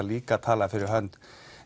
líka að tala fyrir hönd